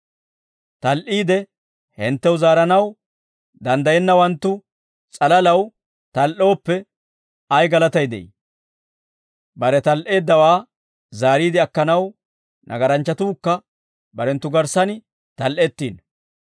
Tal"iide hinttew zaaranaw danddayiyaawanttu s'alalaw tal"ooppe ay galatay de'ii? Bare tal"eeddawaa zaariide akkanaw nagaranchchatuukka barenttu garssan tal"ettiino.